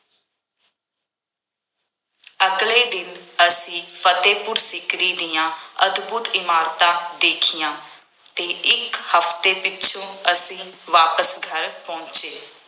ਅਗਲੇ ਦਿਨ ਅਸੀਂ ਫਤਿਹਪੁਰ ਸ਼ਿਕਰੀ ਦੀਆਂ ਅਦਭੁੱਤ ਇਮਾਰਤਾਂ ਦੇਖੀਆਂ ਅਤੇ ਇੱਕ ਹਫਤੇ ਪਿੱਛੋਂ ਅਸੀਂ ਵਾਪਸ ਘਰ ਪਹੁੰਚੇ।